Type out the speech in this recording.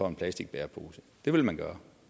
en plastikbærepose det vil man gøre